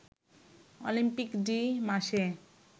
Olympic de Marseille